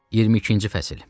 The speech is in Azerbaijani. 22-ci fəsil.